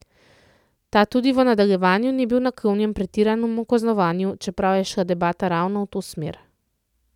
Ta tudi v nadaljevanju ni bil naklonjen pretiranemu kaznovanju, čeprav je šla debata ravno v to smer.